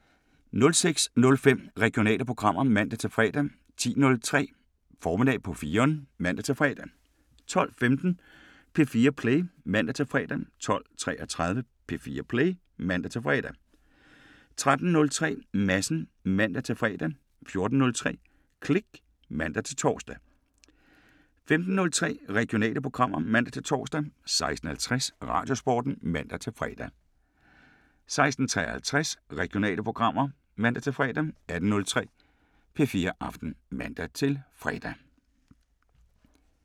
06:05: Regionale programmer (man-fre) 10:03: Formiddag på 4'eren (man-fre) 12:15: P4 Play (man-fre) 12:33: P4 Play (man-fre) 13:03: Madsen (man-fre) 14:03: Klik (man-tor) 15:03: Regionale programmer (man-tor) 16:50: Radiosporten (man-fre) 16:53: Regionale programmer (man-fre) 18:03: P4 Aften (man-fre)